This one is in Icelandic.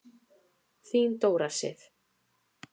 Þín Dóra Sif.